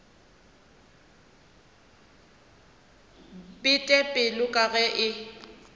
bete pelo ka ge e